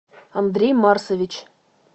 андрей марсович